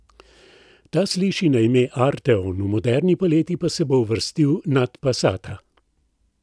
Ta sliši na ime arteon, v modelni paleti pa se bo uvrstil nad passata.